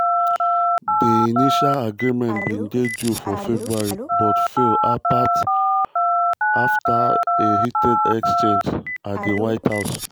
di initial agreement bin due for february but fall apart after a heated exchange at di white house